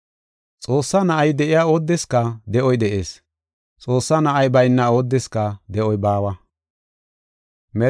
Xoossaa Na7ay de7iya oodeska de7oy de7ees. Xoossaa Na7ay bayna oodeska de7oy baawa.